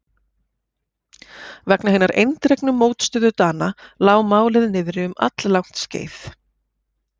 Vegna hinnar eindregnu mótstöðu Dana lá málið niðri um alllangt skeið.